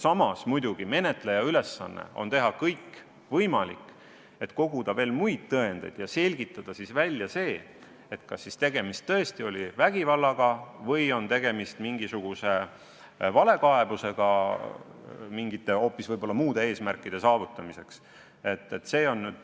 Samas muidugi on menetleja ülesanne teha kõik võimalik, et koguda tõendeid ja selgitada välja, kas tegemist tõesti oli vägivallaga või on tegemist valekaebusega kes teab mis eesmärkide saavutamiseks.